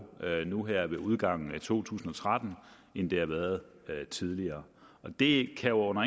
nu her ved udgangen af to tusind og tretten end det har været tidligere det kan under